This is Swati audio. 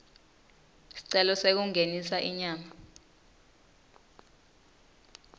sicelo sekungenisa inyama